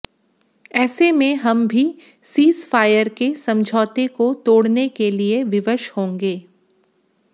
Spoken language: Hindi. ऐसे में हम भी सीजफायर के समझौते को तोडऩे के लिए विवश होंगे